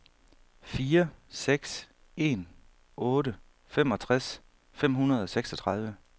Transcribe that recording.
fire seks en otte femogtres fem hundrede og seksogtredive